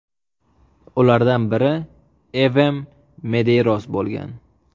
Ulardan biri Evem Medeyros bo‘lgan.